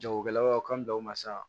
Jagokɛlaw ka kan da o ma sa